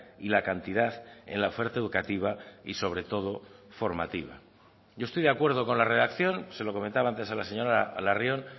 y la cantidad en la oferta educativa y sobre todo formativa yo estoy de acuerdo con la redacción se lo comentaba antes a la señora larrion